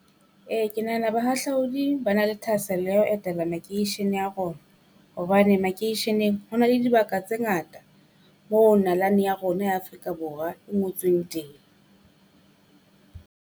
Ee ke nahana bahahlaudi ba na le thahasello ya ho etela makeishene a rona. Hobane makeisheneng ho na le dibaka tse ngata moo nalane ya rona ya Afrika Borwa e ngotsweng teng.